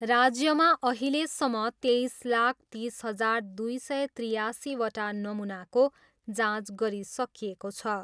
राज्यमा अहिलेसम्म तेइस लाख तिस हजार दुई सय त्रियासीवटा नमुनाको जाँच गरिसकिएको छ।